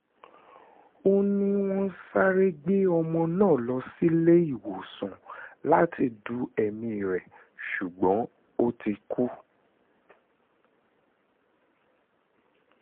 ó ní wọ́n sáré gbé ọmọ náà lọ síléèwọ̀sán láti du ẹ̀mí rẹ̀ ṣùgbọ́n ó ti kú